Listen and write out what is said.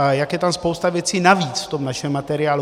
A jak je tam spousta věcí navíc, v tom našem materiálu.